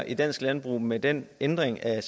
i dansk landbrug med den ændring af